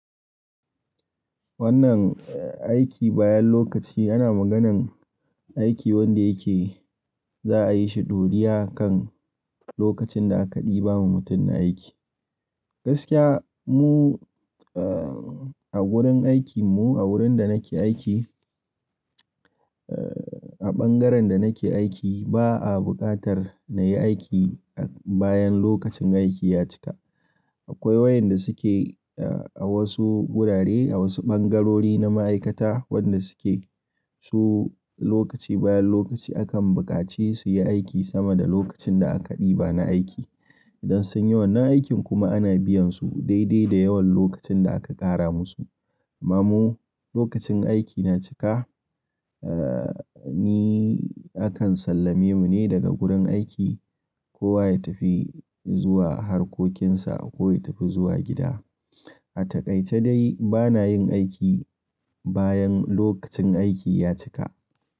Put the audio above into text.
Wannan aiki bayan lokaci ana maganan aiki wanda yake za'a yi shi ɗuri'a kan lokacin da aka ɗiba ma mutum na aiki. Gaskiya mu, eh, a gurin aikimu, a wurin da nake aiki, a ɓangaren da nake aiki ba a buƙatar na yi aiki bayan lokacin aiki ya cika. Akwai wayanda suke, eh, a wasu wurare, a wasu ɓangarori na ma'aikata wanda suke su lokaci bayan lokaci akan buƙace su yi aiki sama da lokacin da aka ɗiba na aiki. Idan sun yi wannan aikin kuma ana biyan su daidai da yawan lokacin da aka ƙara musu. Amma mu lokacin aiki na cika, eh, ni akan sallame mu ne daga gurin aiki. Kowa ya tafi zuwa harkokinsa ko ya tafi zuwa gida. A taƙaice dai bana yin aiki bayan lokacin aiki ya cika.